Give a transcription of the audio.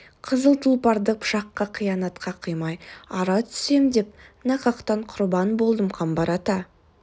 қызыл тұлпарды пышаққа қиянатқа қимай ара түсем деп нақақтан құрбан болдым қамбар ата